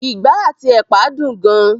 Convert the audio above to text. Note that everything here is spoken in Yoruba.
ìgbá àti ẹ̀pà dùn gan.